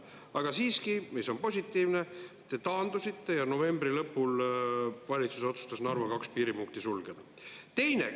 Aga siiski, mis on positiivne, te taandusite ja novembri lõpul valitsus otsustas Narva 2 piiripunkti sulgeda.